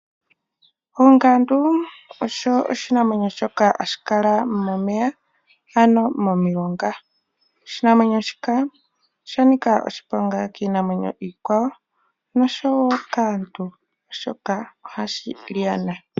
Ongandu osho oshinamwenyo shoka hashi kala momeya ano momulonga, oshinamwenyo shika oshanika oshiponga kiinamwenyo iikwawo noshowo kaantu oshoka ohashi lyana.